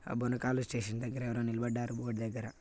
ఆ బోనకాల స్టేషన్ దగ్గర ఎవరో నిలబడ్డారు బోర్డు దగ్గర--